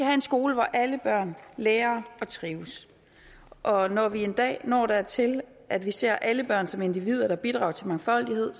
en skole hvor alle børn lærer og trives og når vi en dag når dertil at vi ser alle børn som individer der bidrager til mangfoldighed